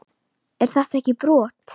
Er þetta ekki brot?